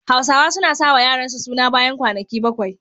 Hausawa suna sa wa yaransu suna bayan kwanaki bakwai.